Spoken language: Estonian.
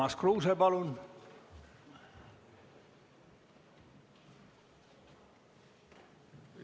Urmas Kruuse, palun!